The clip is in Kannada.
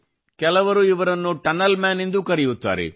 ಇವರನ್ನು ಕೆಲವರು ಟನಲ್ ಮ್ಯಾನ್ ಎಂದೂ ಕರೆಯುತ್ತಾರೆ